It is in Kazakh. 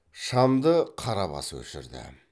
шамды қарабас өшірді